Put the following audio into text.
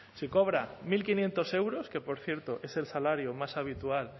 si cobra mil quinientos euros que por cierto es el salario más habitual